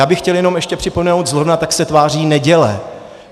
Já bych chtěl jenom ještě připomenout - zrovna tak se tváří neděle.